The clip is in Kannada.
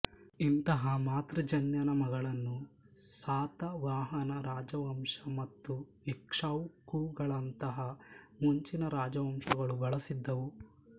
ಇಂತಹ ಮಾತೃಜನ್ಯನಾಮಗಳನ್ನು ಸಾತವಾಹನ ರಾಜವಂಶ ಮತ್ತು ಇಕ್ಷ್ವಾಕುಗಳಂತಹ ಮುಂಚಿನ ರಾಜವಂಶಗಳೂ ಬಳಸಿದ್ದವು